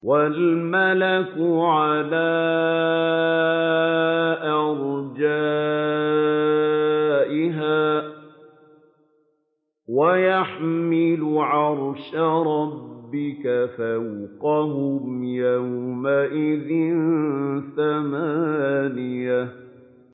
وَالْمَلَكُ عَلَىٰ أَرْجَائِهَا ۚ وَيَحْمِلُ عَرْشَ رَبِّكَ فَوْقَهُمْ يَوْمَئِذٍ ثَمَانِيَةٌ